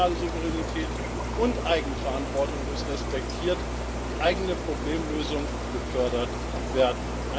Die nationale Souveränität und Eigenverantwortung muss respektiert, die eigene Problemlösung gefördert werden.